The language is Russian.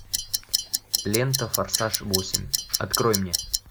лента форсаж восемь открой мне